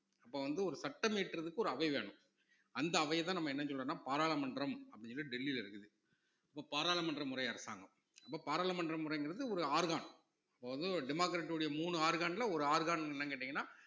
அப்ப வந்து ஒரு சட்டம் இயற்றுவதற்கு ஒரு அவை வேணும் அந்த அவையைதான் நம்ம என்ன சொல்றோம்னா பாராளுமன்றம் அப்படின்னு டெல்லில இருக்குது இப்ப பாராளுமன்ற முறை அரசாங்கம் இப்ப பாராளுமன்ற முறைங்கிறது ஒரு organ இப்ப வந்து democratic உடைய மூணு organ ல ஒரு organ என்னன்னு கேட்டீங்கன்னா